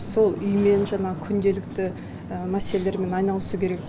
сол үймен жаңағы күнделікті мәселелермен айналысу керек деген